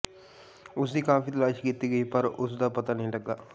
ਉਸ ਦੀ ਕਾਫੀ ਤਲਾਸ਼ ਕੀਤੀ ਗਈ ਪਰ ਉਸ ਦਾ ਪਤਾ ਨਹੀਂ ਲੱਗਾ